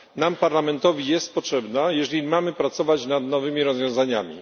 Nam, Parlamentowi, jest potrzebna, jeżeli mamy pracować nad nowymi rozwiązaniami.